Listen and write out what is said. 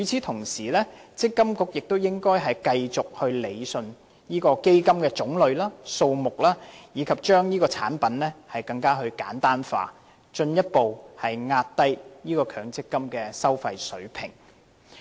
同時，積金局亦應該繼續理順基金的種類和數目，以及將產品簡單化，以進一步壓低強積金的收費水平。